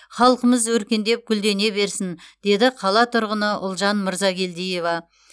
халқымыз өркендеп гүлдене берсін деді қала тұрғыны ұлжан мырзагелдиева